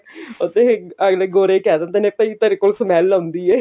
ਉੱਥੇ ਅਗਲੇ ਗੋਰੇ ਇਹ ਕਿਹ ਦਿੰਦੇ ਕਿ ਭਾਈ ਤੇਰੇ ਕੋਲੋਂ smell ਆ ਰਹੀ ਹੈ